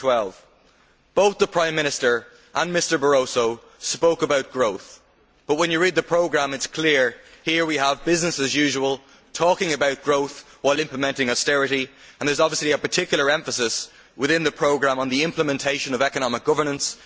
2012. Both the Prime Minister and Mr Barroso spoke about growth but, when you read the programme, it is clear that what we have here is business as usual talking about growth while implementing austerity and there is obviously a particular emphasis within the programme on the implementation of economic governance.